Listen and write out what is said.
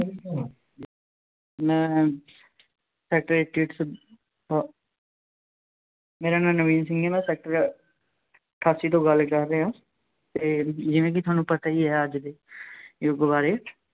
ਮੈਂ sector eighty eight ਮੇਰਾ ਨਾਮ ਨਵੀਨ ਸਿੰਘ ਹੈ। ਮੈਂ ਸੈਕਟਰ ਅਠਾਸੀ ਤੋਂ ਗੱਲ ਕਰ ਰਿਹਾਂ ਅਤੇ ਜਿਵੇਂ ਕਿ ਤੁਹਾਨੂੰ ਪਤਾ ਹੀ ਹੈ ਅੱਜ ਯੁੱਗ ਬਾਰੇ।